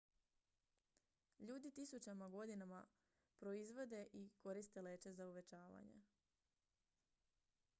ljudi tisućama godina proizvode i koriste leće za uvećavanje